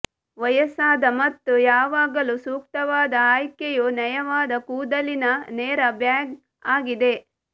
ವಯಸ್ಸಾದ ಮತ್ತು ಯಾವಾಗಲೂ ಸೂಕ್ತವಾದ ಆಯ್ಕೆಯು ನಯವಾದ ಕೂದಲಿನ ನೇರ ಬ್ಯಾಂಗ್ ಆಗಿದೆ